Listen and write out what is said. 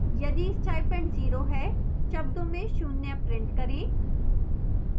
यदि stipend 0 है शब्दों में शून्य print करें